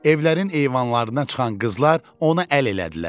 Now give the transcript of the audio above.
Evlərin eyvanlarına çıxan qızlar ona əl elədilər.